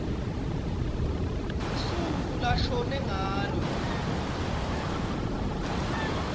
lusuku lashone ngalo